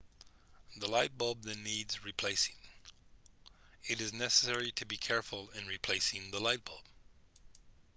the light bulb then needs replacing it is necessary to be careful in replacing the light bulb